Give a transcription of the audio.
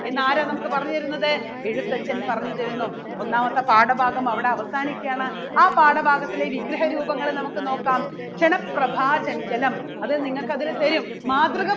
എന്ന് ആരാ നമുക്ക് പറഞ്ഞു തരുന്നത് എഴുത്തച്ഛൻ പറഞ്ഞു തരുന്നു ഒന്നാമത്തെ പാഠഭാഗം അവിടെ അവസാനിക്കുകയാണ്. ആ പാഠഭാഗത്തിലെ വിഗ്രഹ രൂപങ്ങളെ നമുക്ക് നോക്കാം ക്ഷണപ്രഭാചഞ്ചലം അത് നിങ്ങൾക്ക് അവര് തരും മാതൃക